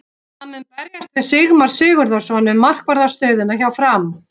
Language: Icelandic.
Hann mun berjast við Sigmar Sigurðarson um markvarðar stöðuna hjá Fram.